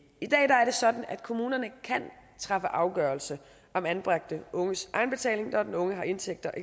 i dag er det sådan at kommunerne kan træffe afgørelse om anbragte unges egenbetaling når den unge har indtægter